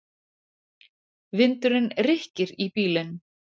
Vindurinn rykkir í bílinn.